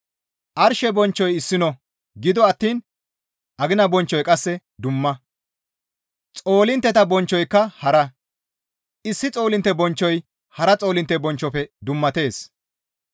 Arshe bonchchoy issino; gido attiin agina bonchchoy qasse dumma; xoolintteta bonchchoyka hara; issi xoolintte bonchchoy hara xoolintte bonchchofe dummatees.